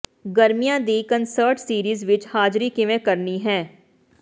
ਗਰਮੀਆਂ ਦੀ concert series ਵਿਚ ਹਾਜ਼ਰੀ ਕਿਵੇਂ ਕਰਨੀ ਹੈ